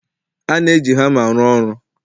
A na-eji hama arụ ọrụ